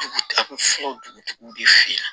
Dugu a bɛ fɔ dugutigiw de fɛ